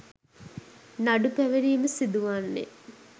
නඩු පැවරීම සිදුවන්නේ